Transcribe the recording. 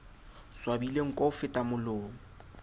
swabile nko ho feta molomo